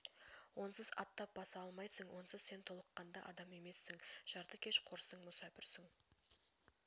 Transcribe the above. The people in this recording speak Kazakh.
онсыз аттап баса алмайсың онсыз сен толыққанды адам емессің жартыкеш қорсың мүсәпірсің